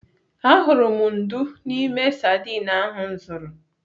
Ahụrụ m ndú n'ime sadin ahụ m zụrụ.